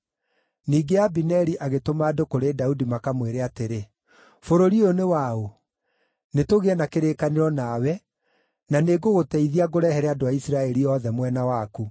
Ningĩ Abineri agĩtũma andũ kũrĩ Daudi makamwĩre atĩrĩ, “Bũrũri ũyũ nĩ waũ? Nĩtũgĩe na kĩrĩkanĩro nawe, na nĩngũgũteithia ngũrehere andũ a Isiraeli othe mwena waku.”